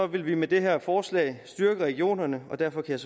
vil vi med det her forslag styrke regionerne og derfor kan